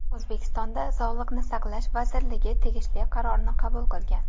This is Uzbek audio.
O‘zbekiston Sog‘liqni saqlash vazirligi tegishli qarorni qabul qilgan.